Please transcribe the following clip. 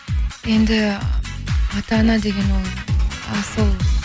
енді ата ана деген ол асыл